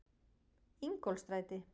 Ingólfsstræti